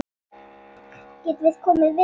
Getum við komið við heima?